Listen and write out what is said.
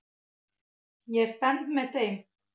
Ég stend með þeim.